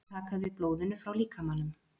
Þau taka við blóðinu frá líkamanum.